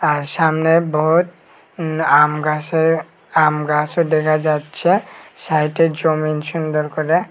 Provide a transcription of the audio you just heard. আর সামনে বহুত উম আমগাসের আমগাসও দেখা যাচ্ছে সাইটে জমিন সুন্দর করে।